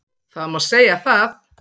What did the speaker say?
Það má segja það